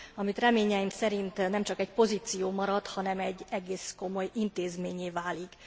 ami reményeim szerint nem csak egy pozíció marad, hanem egy egész komoly intézménnyé válik.